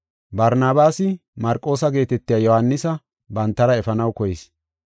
Barnabaasi Marqoosa geetetiya Yohaanisa bantara efanaw koyis.